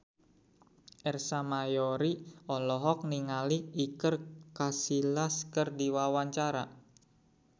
Ersa Mayori olohok ningali Iker Casillas keur diwawancara